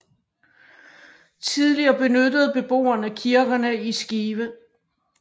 Tidligere benyttede beboerne kirkerne i Skive